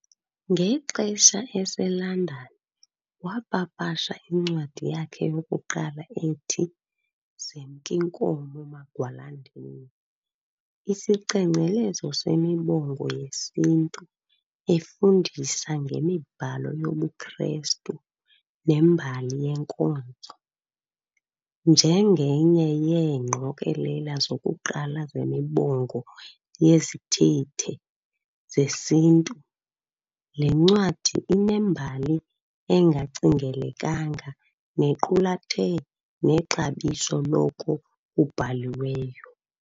Ngexesha eseLondon wapapasha incwadi yakhe yokuqala ethi Zemk'Inkomo Magwalandini, isicengcelezo semibongo yesiNtu, efundisa ngemibhalo yobuKristu nembali yenkonzo. Njengenye yeengqokelela zokuqala zemibongo yezithethe zesiNtu, le ncwadi inembali engacingelekanga nequlathe nexabiso loko kubhaliweyo.